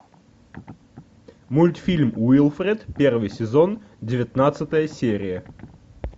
мультфильм уилфред первый сезон девятнадцатая серия